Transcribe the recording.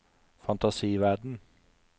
fantasiverden